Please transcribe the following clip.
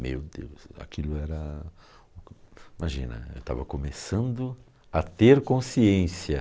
Meu Deus, aquilo era... Imagina, eu estava começando a ter consciência.